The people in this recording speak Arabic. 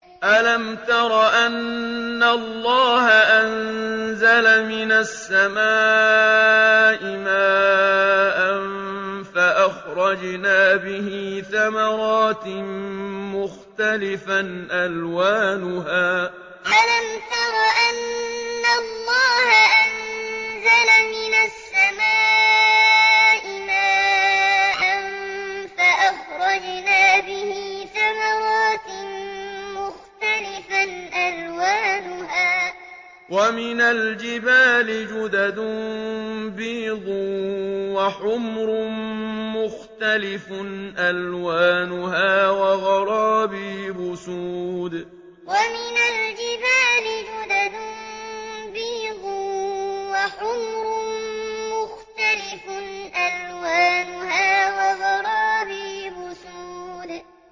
أَلَمْ تَرَ أَنَّ اللَّهَ أَنزَلَ مِنَ السَّمَاءِ مَاءً فَأَخْرَجْنَا بِهِ ثَمَرَاتٍ مُّخْتَلِفًا أَلْوَانُهَا ۚ وَمِنَ الْجِبَالِ جُدَدٌ بِيضٌ وَحُمْرٌ مُّخْتَلِفٌ أَلْوَانُهَا وَغَرَابِيبُ سُودٌ أَلَمْ تَرَ أَنَّ اللَّهَ أَنزَلَ مِنَ السَّمَاءِ مَاءً فَأَخْرَجْنَا بِهِ ثَمَرَاتٍ مُّخْتَلِفًا أَلْوَانُهَا ۚ وَمِنَ الْجِبَالِ جُدَدٌ بِيضٌ وَحُمْرٌ مُّخْتَلِفٌ أَلْوَانُهَا وَغَرَابِيبُ سُودٌ